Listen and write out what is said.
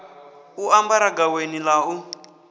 u ambara gaweni ḽa u